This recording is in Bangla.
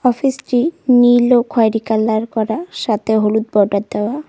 অফিস -টি নীল ও খয়েরি কালার করা সাথে হলুদ বর্ডার দেওয়া।